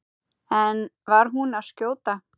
En var hún að skjóta?